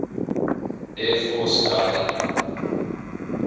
air force guided